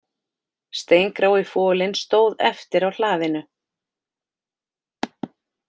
Steingrái folinn stóð eftir á hlaðinu